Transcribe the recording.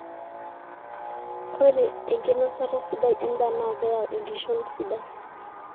ore enkinosata sidai endaa naa keyau enkishon sidai